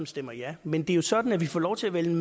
stemmer ja men det er jo sådan at vi får lov til at vælge